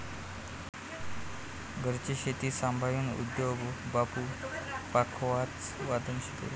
घरची शेती सांभाळून उद्धव बापू पखावाजवादन शिकले.